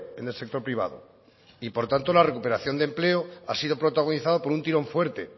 en el sector privado y por tanto la recuperación de empleo ha sido protagonizado por un tirón fuerte